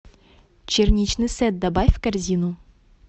черничный сет добавь в корзину